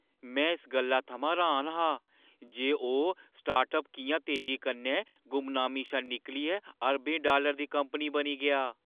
में इस गल्ला थमां र्‌हान हा जे ओह् स्टार्टअप किʼयां तेजी कन्नै गुमनामी शा निकलियै अरबें डालरें दी कंपनी बनी गेआ।